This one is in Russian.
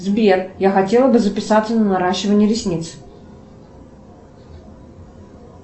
сбер я хотела бы записаться на наращивание ресниц